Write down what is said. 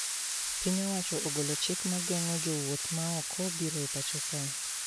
Piny owacho ogolo chik mageng`o jowuoth maoko biro e pacho kae